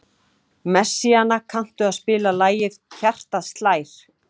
Messíana, kanntu að spila lagið „Hjartað slær“?